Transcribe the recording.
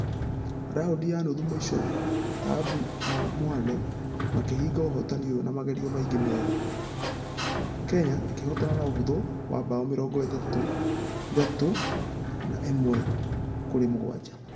Raundi ya nuthu mũisho taabu na mwale makĩhinga ũhotani ũyũ na magerio mangĩ merĩ . Kenya ĩkĩhotana na ũhuthũ na bao mĩrongo ĩtatũ na ĩmwe kũrĩ mũgwaja.